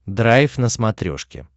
драйв на смотрешке